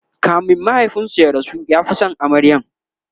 kamin mahaifinsu ya rasu ya Fi San amaryar